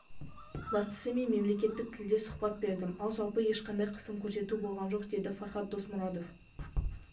бастысы мен мемлекеттік тілде сұхбат бердім ал жалпы ешқандай қысым көрсету болған жоқ деді фархад досмұратов